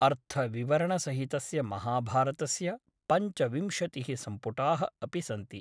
अर्थविवरणसहितस्य महाभारतस्य पञ्चविंशतिः सम्पुटाः अपि सन्ति ।